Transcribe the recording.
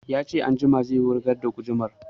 Ya ce anjima zai wurgar da gudumar